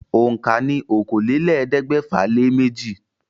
Òǹkà ní okòólélẹ́ẹ̀ẹ́dẹ́gbẹ́fà-lé-méjì.